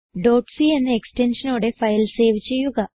c എന്ന എക്സ്റ്റൻഷനോടെ file save ചെയ്യുക